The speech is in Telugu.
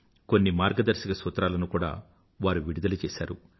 కొన్ని మార్గదర్శక సూత్రాలను కూడా వారు విడుదల చేసారు